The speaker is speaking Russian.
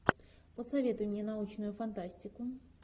посоветуй мне научную фантастику